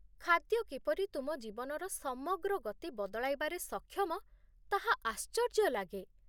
ଖାଦ୍ୟ କିପରି ତୁମ ଜୀବନର ସମଗ୍ର ଗତି ବଦଳାଇବାରେ ସକ୍ଷମ ତାହା ଆଶ୍ଚର୍ଯ୍ୟ ଲାଗେ।